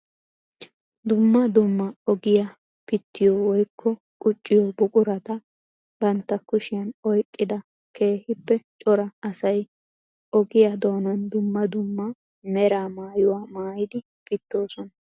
Dumma dumma ogiya pittiyo woykko qucciyo buqurata bantta kushiyan oyqqida keehippe cora asay ogiya doonan dumma dumma mera mayuwa maayidi pittoosona.